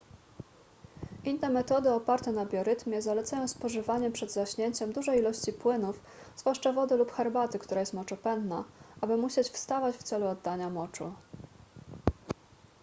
inne metody oparte na biorytmie zalecają spożywanie przed zaśnięciem dużej ilości płynów zwłaszcza wody lub herbaty która jest moczopędna aby musieć wstawać w celu oddania moczu